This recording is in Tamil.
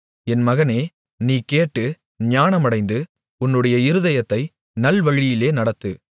என் மகனே நீ கேட்டு ஞானமடைந்து உன்னுடைய இருதயத்தை நல்வழியிலே நடத்து